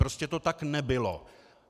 Prostě to tak nebylo.